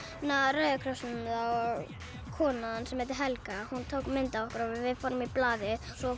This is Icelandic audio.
Rauða krossinum það og konan sem heitir Helga tók mynd af okkur og við fórum í blaðið svo